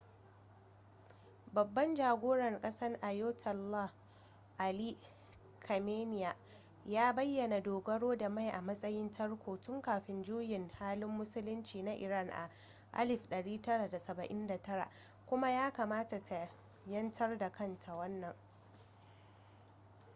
babbab jagoran kasar ayatollah ali khamenei ya bayyana dogaro da mai a matsayin tarko tun kafin juyin juya halin musulunci na iran a 1979 kuma ya kamata ta 'yantar da kanta wannan